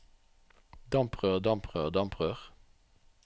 damprør damprør damprør